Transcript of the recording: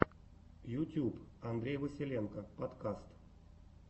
ютьюб андрей василенко подкаст